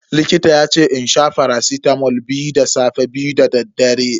Likita yace in sha faracitamol biyu da safe, biyu dadaddare.